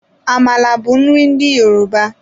Amala bụ nri ndị Yoruba.